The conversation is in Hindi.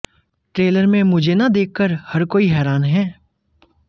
ट्रेलर में मुझे न देखकर हर कोई हैरान है